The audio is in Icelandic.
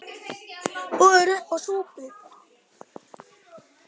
Boðið er uppá súpu.